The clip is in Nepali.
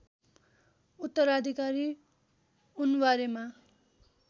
उत्तराधिकारी उनबारेमा